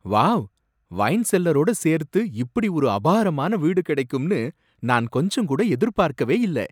Wow! Wine செல்லரோட சேர்த்து இப்படி ஒரு அபாரமான வீடு கிடைக்கும்னு நான் கொஞ்சம் கூட எதிர்பார்க்கவே இல்லை.